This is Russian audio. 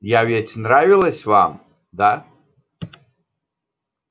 я ведь нравилась вам да